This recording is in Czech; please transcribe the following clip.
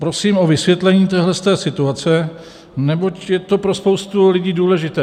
Prosím o vysvětlení této situace, neboť je to pro spoustu lidí důležité.